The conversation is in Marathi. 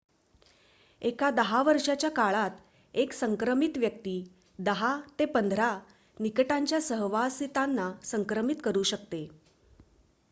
एका वर्षाच्या काळात एक संक्रमित व्यक्ती 10 ते 15 निकटच्या सहवासितांना संक्रमित करु शकतो